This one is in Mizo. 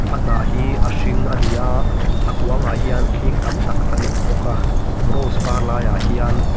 a hnah hi a hring a ni a a kuangah hian hling tam tak an awm bawk a rose par laiah hian --